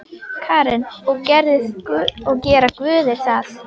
Karen: Og gera guðir það?